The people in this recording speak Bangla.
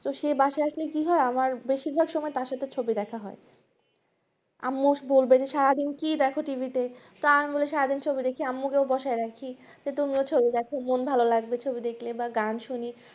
তো সে বাসাই আসলে কি হয়আমার বেশি ভাগ সময় তার সাথে ছবি দেখা হয় আম্মু বলবেন সারাদিন কি দেখ TV তে তা আমি বলি সারাদিন ছবি দেখি আম্মুকে বসায় রাখিতো তুমিও ছবি দেখো মন ভালো লাগবে ছবি দেখলে বা গান শুনলে